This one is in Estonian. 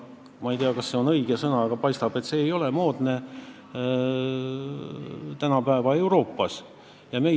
Ma ei tea, kas see on õige sõna, aga paistab, et see ei ole tänapäeva Euroopas moodne.